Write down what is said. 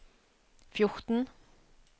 fjorten